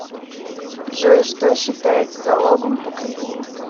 джой что считается залогом по кредиту